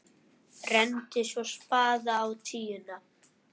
Renndi svo spaða á tíuna.